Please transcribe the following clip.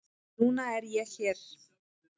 Núna er ég hér.